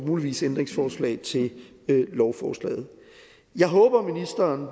muligvis ændringsforslag til lovforslaget jeg håber at ministeren